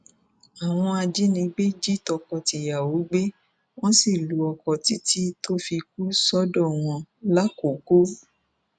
àwọn ajànigbé jí tọkọtìyàwó gbé wọn sì lu ọkọ títí tó fi kú sọdọ wọn làkọkọ